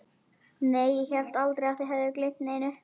Nei, ég hélt aldrei að þið hefðuð gleymt neinu.